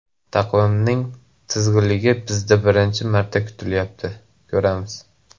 Taqvimning tig‘izligi bizda birinchi marta kuzatilyapti, ko‘ramiz.